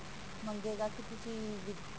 ਮੰਗੇਗਾ ਕਿ ਤੁਸੀਂ